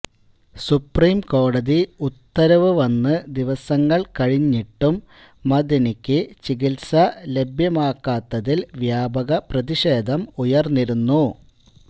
സുപ്രീംകോടതി ഉത്തരവ് വന്ന് ദിവസങ്ങള് കഴിഞ്ഞിട്ടും മഅദനിക്ക് ചികിത്സ ലഭ്യമാക്കാത്തതില് വ്യാപക പ്രതിഷേധം ഉയര്ന്നിരുന്നു